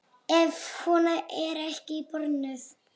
Ef hún er ekki bönnuð.